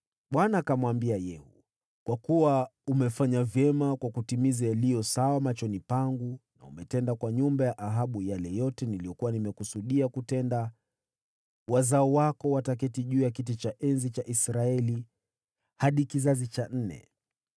Bwana akamwambia Yehu, “Kwa kuwa umefanya vyema kwa kutimiza yaliyo sawa machoni pangu, na umetenda kwa nyumba ya Ahabu yale yote niliyokuwa nimekusudia kutenda, wazao wako wataketi juu ya kiti cha enzi cha Israeli hadi kizazi cha nne.”